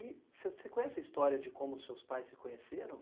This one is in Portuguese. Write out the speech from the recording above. E você conhece a história de como seus pais se conheceram?